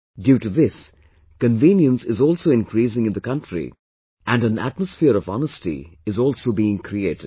Due to this, convenience is also increasing in the country and an atmosphere of honesty is also being created